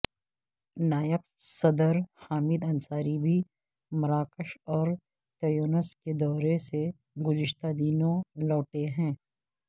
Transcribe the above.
نائب صدر حامد انصاری بھی مراکش اور تیونس کے دورے سے گزشتہ دنوں لوٹے ہیں